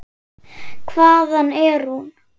Hvaðan er hún?